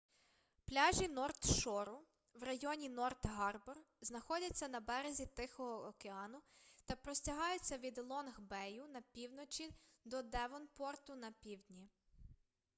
пляжі норт шору в районі норт гарбор знаходяться на березі тихого океану та простягаються від лонг бею на півночі до девонпорту на півдні